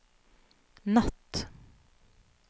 natt